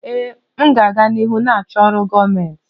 Ee, m ga-aga n'ihu na-achọ ọrụ gọọmentị.